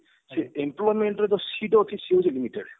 ସେ employment ରେ ଯୋଉ seat ଅଛି ସିଏ ହଉଛି limited